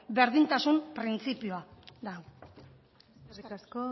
berdintasun printzipioa da hau eskerrik asko